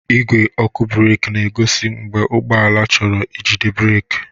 Ìgwé ọkụ breeki na-egosi mgbe ụgbọ ala chọrọ ijide breeki.